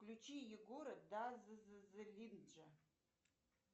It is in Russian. включи егора дазззлинджа